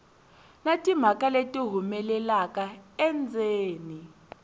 na timhaka leti humelelaka endzeni